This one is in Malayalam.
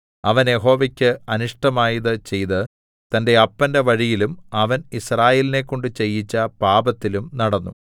അവൻ യഹോവയ്ക്ക് അനിഷ്ടമായത് ചെയ്ത് തന്റെ അപ്പന്റെ വഴിയിലും അവൻ യിസ്രായേലിനെക്കൊണ്ട് ചെയ്യിച്ച പാപത്തിലും നടന്നു